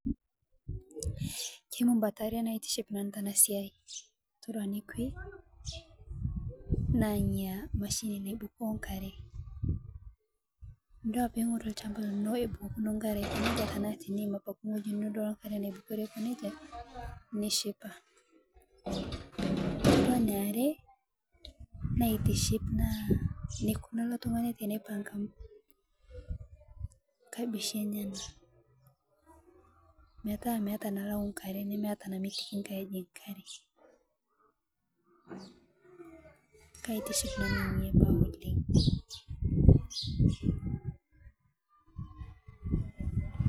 kemu mbatare naitiship nanu tana siai todua nekwe naa nyia machine naibukoo ngare dol tinidol lshamba lino ebukokuno ngare tanaasii tinidol ebukori ngare aikoneja nishipa todua naare naitiship naa nekuna ale tung'ane tenepanga kabishi enyena metaa melau nkare nemeeta namitiki ngae ejig ngare kaitiship nanu nenia baa oleng